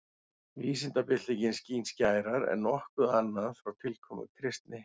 Vísindabyltingin skín skærar en nokkuð annað frá tilkomu kristni.